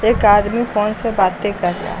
एक आदमी फोन से बातें कर रहा है।